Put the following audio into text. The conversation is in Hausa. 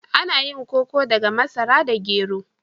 Ana yin koko daga masara da gero.